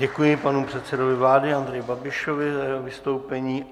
Děkuji panu předsedovi vlády Andrejovi Babišovi za jeho vystoupení.